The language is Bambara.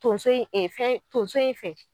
Tonso in fɛn tonso in fɛ